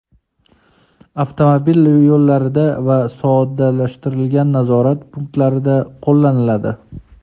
avtomobil yo‘llarida va soddalashtirilgan nazorat punktlarida qo‘llaniladi.